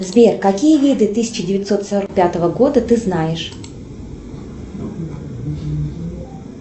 сбер какие виды тысяча девятьсот сорок пятого года ты знаешь